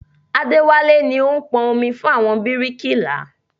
Adéwálé ni ó ń pọn omi fún àwọn bíríkìlà